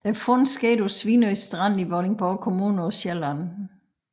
Fundet skete på Svinø Strand i Vordingborg Kommune på Sjælland